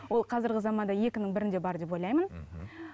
ол қазіргі заманда екінің бірінде бар деп ойлаймын мхм